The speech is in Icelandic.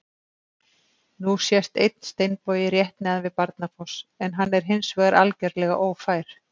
Nú sést einn steinbogi rétt neðan við Barnafoss en hann er hins vegar algjörlega ófær.